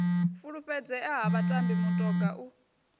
fulufhedzea ha vhatambi mutoga u